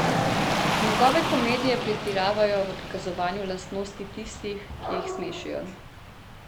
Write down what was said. Njegove komedije pretiravajo v prikazovanju lastnosti tistih, ki jih smešijo.